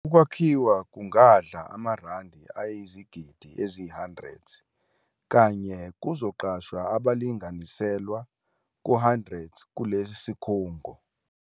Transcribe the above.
Ukwakhiwa kungadla amaRandi ayizigidi eziyi-100 kanti kuzoqashwa abalinganiselwa ku-100 kulesi sikhungo.